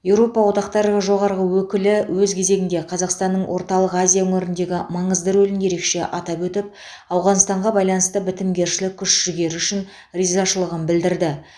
еуропа одақтары жоғарғы өкілі өз кезегінде қазақстанның орталық азия өңіріндегі маңызды рөлін ерекше атап өтіп ауғанстанға байланысты бітімгершілік күш жігері үшін ризашылығын білдірді